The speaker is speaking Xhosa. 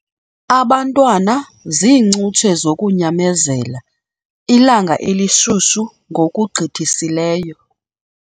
Abantwana ziincutshe zokunyamezela ilanga elishushu ngokugqithisileyo.